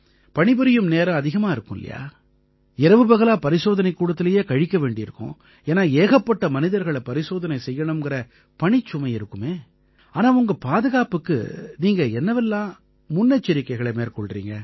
பணிபுரியும் நேரம் அதிகமா இருக்கும் இல்லையா இரவுபகலா பரிசோதனைக்கூடத்திலயே கழிக்க வேண்டியிருக்கும் ஏன்னா ஏகப்பட்ட மனிதர்களை பரிசோதனை செய்யணுங்கற பணிச்சுமை இருக்குமே ஆனா உங்க பாதுகாப்புக்கு நீங்க என்னவெல்லாம் முன்னெச்சரிக்கைகளை மேற்கொள்றீங்க